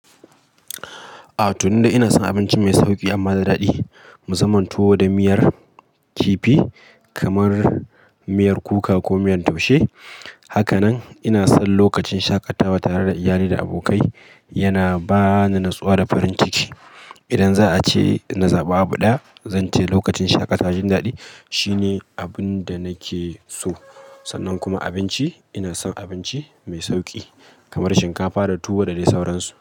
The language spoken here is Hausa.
A to ni dai ina son abinci mai sauƙi amma da daɗi, musaman tuwo da miyar kifi kamar miyar kuka ko miyan taushe. Haka nan ina son lokacin shaƙatawa tare da iyali da abokai, yana ba ni natsuwa da farin ciki. Idan za a ce in zaba abu ɗaya, zan ce lokacin shaƙatawa jin daɗi shine abin da nake so. Sannan kuma abinci, ina son abinci mai sauƙi kamar shinkafa da tuwo da dai sauransu.